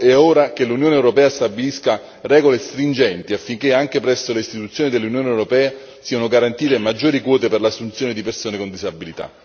È ora che l'Unione europea stabilisca regole stringenti, affinché anche presso le istituzioni dell'Unione europea siano garantite maggiori quote per l'assunzione di persone con disabilità.